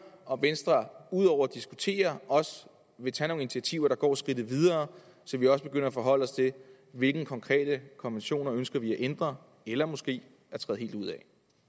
om venstre ud over at diskutere også vil tage nogle initiativer der går skridtet videre så vi også begynder at forholde os til hvilke konkrete konventioner vi ønsker at ændre eller måske træde helt ud af